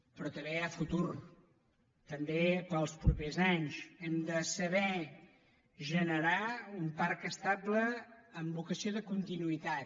però també hi ha futur també per als propers anys hem de saber generar un parc estable amb vocació de continuïtat